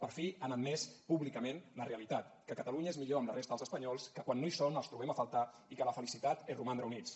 per fi han admès públicament la realitat que catalunya és millor amb la resta dels espanyols que quan no hi són els trobem a faltar i que la felicitat és romandre units